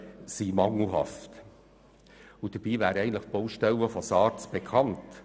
Doch die Baustellen von SARZ wären eigentlich bekannt.